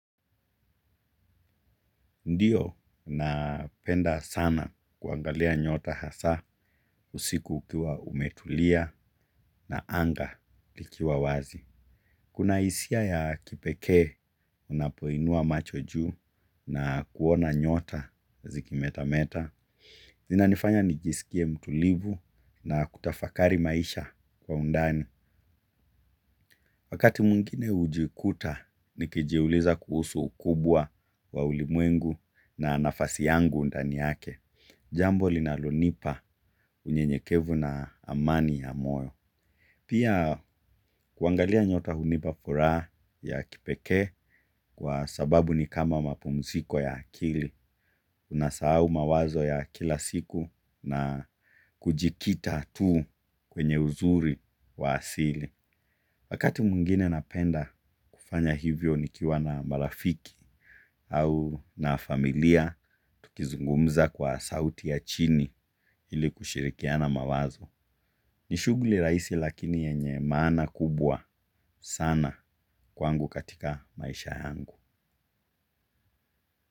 Ndiyo napenda sana kuangalia nyota hasa usiku ukiwa umetulia na anga likiwa wazi. Kuna hisia ya kipekee unapoinua macho juu na kuona nyota zikimeta meta. Linanifanya nijisikie mtulivu na kutafakari maisha kwa undani. Wakati mwingine hujikuta nikijiuliza kuhusu ukubwa wa ulimwengu na nafasi yangu ndani yake. Jambo linalonipa unyenyekevu na amani ya moyo. Pia kuangalia nyota hunipa furaha ya kipekee kwa sababu ni kama mapumziko ya akili. Unasahau mawazo ya kila siku na kujikita tu kwenye uzuri wa asili. Wakati mwingine napenda kufanya hivyo nikiwa na marafiki au na familia tukizungumza kwa sauti ya chini ili kushirikiana mawazo. Ni shughuli rahisi lakini yenye maana kubwa sana kwangu katika maisha yangu.